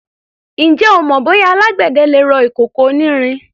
Ǹjẹ́ o mọ bóyá alágbẹ̀dẹ le rọ ìkòkò onírin?